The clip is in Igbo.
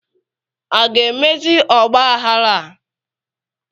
A ga-emezi ọgbaghara a?